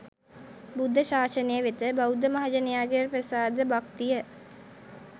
බුද්ධ ශාසනය වෙත බෞද්ධ මහජනයාගේ ප්‍රසාද භක්තිය